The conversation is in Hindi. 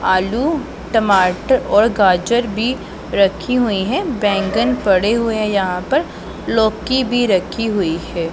आलू टमाटर और गाजर भी रखी हुई है बैंगन पड़े हुए यहां पर लौकी भी रखी हुई है।